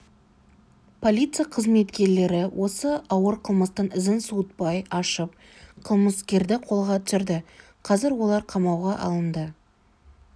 полиция қызметкерлері осы ауыр қылмыстың ізін суытпай ашып қылмыскерді қолға түсірді қазір олар қамауға алынды